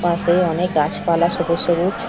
পাশে অনেক গাছপালা সবুজ সবুজ।